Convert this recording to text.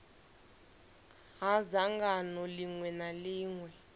ha dzangano ḽiṅwe na ḽiṅwe